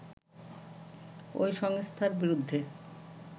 ওই সংস্থার বিরুদ্ধে